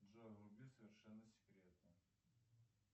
джой вруби совершенно секретно